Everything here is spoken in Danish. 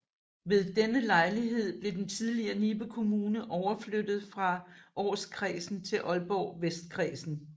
Ved denne lejlighed blev den tidligere Nibe Kommune overflyttet fra Aarskredsen til Aalborg Vestkredsen